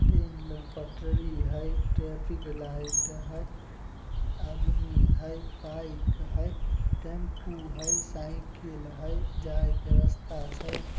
Train पटरी हेय traffic light हेय आदमी हेय बाइक हेय टेम्पू हेय साइकिल हेय जायके रास्ता छइ ।